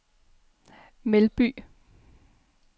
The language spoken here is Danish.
Melby